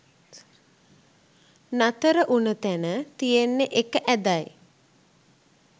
නතර උන තැන තියෙන්නේ එක ඇදයි.